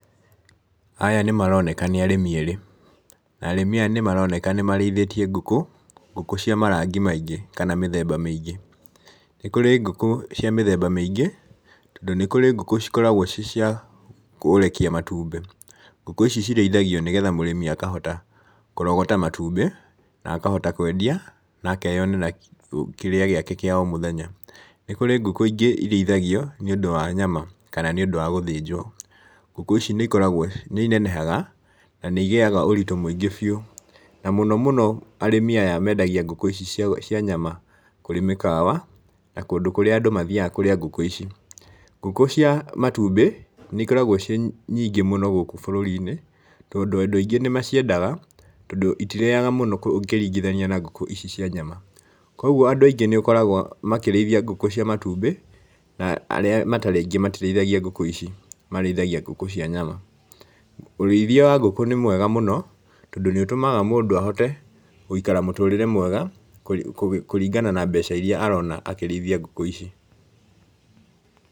Aya nĩmaroneka nĩ arĩmi erĩ, na arĩmi aya nĩmaroneka nĩ marĩithĩtie ngũkũ, ngũkũ cia marangi maingĩ kana mĩthemba mĩingĩ. Nĩ kũrĩ ngũkũ cia mĩthemba mĩingĩ, tondũ nĩ kũrĩ ngũkũ cikoragwo ciĩ cia kũrekia matumbĩ, ngũkũ ici cirĩithagio nĩgetha mũrĩmi akahota kũrogota matumbĩ na akahota kwendia na akeyonera kĩrĩa gĩake kĩa o mũthenya. Nĩ kũrĩ ngũkũ ingĩ irĩithagio nĩũndũ wa nyama kana nĩũndũ wa gũthĩnjwo, ngũkũ ici nĩ inenehaga na nĩ igĩaga ũritũ mũingĩ biũ, na mũno mũno arĩmi aya mendagia ngũkũ ici cia nyama kũrĩ mĩkawa na kũndũ kũrĩa andũ mathiaga kũrĩa ngũkũ ici. Ngũkũ cia matumbĩ, nĩ ikoragwo ciĩ nyingĩ mũno gũkũ bũrũri-inĩ tondũ andũ aingĩ nĩ maciendaga, tondũ itirĩaga mũno ũkĩringithania na ngũkũ ici cia nyama, koguo andũ aingĩ nĩ ũkoraga makĩrĩithia ngũkũ cia matumbĩ na arĩa matarĩ aingĩ matirĩithagia ngũkũ ici, marĩithagia ngũkũ cia nyama. Ũrĩithia wa ngũkũ nĩ mwega mũno, tondũ nĩ ũtũmaga mũndũ ahote gũikara mũtũrĩre mwega, kũringana na mbeca iria arona akĩrĩithia ngũkũ ici.